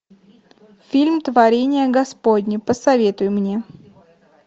фильм творение господне посоветуй мне